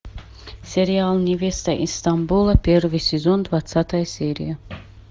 сериал невеста из стамбула первый сезон двадцатая серия